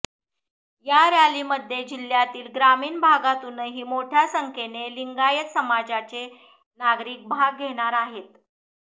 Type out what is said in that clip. या रॅलीमध्ये जिल्हय़ातील ग्रामीण भागातूनही मोठय़ा संख्येने लिंगायत समाजाचे नागरिक भाग घेणार आहेत